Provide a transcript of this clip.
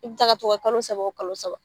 I bi taa kɛ tugun kalo saba o kalo saba.